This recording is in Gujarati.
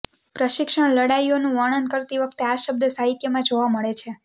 પ્રશિક્ષણ લડાઇઓનું વર્ણન કરતી વખતે આ શબ્દ સાહિત્યમાં જોવા મળે છે